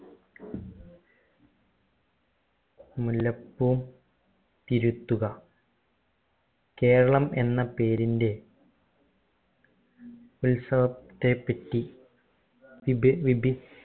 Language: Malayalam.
മുല്ലപ്പൂ തിരുത്തുക കേരളം എന്ന പേരിന്റെ ഉത്സവത്തെ പറ്റി വിപ വിപി